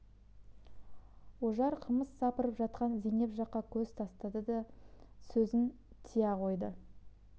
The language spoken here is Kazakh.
ожар қымыз сапырып жатқан зейнеп жаққа көз тастады да сөзін тия қойды